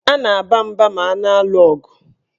A na-aba mba ma a na-alụ ọgụ.